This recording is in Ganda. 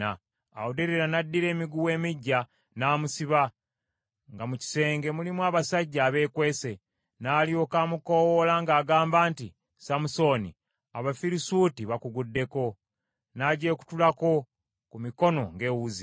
Awo Derira n’addira emiguwa emiggya, n’amusiba, nga mu kisenge mulimu abasajja abeekwese. N’alyoka amukoowoola ng’agamba nti, “Samusooni, Abafirisuuti bakuguddeko.” N’agyekutulako ku mikono ng’ewuzi.